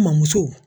N mamuso